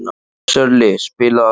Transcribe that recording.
Sörli, spilaðu lag.